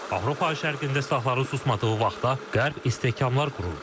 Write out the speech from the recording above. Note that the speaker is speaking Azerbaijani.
Avropa şərqində silahların susmadığı vaxtda, Qərb istehkamlar qurur.